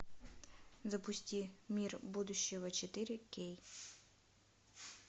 запусти мир будущего четыре кей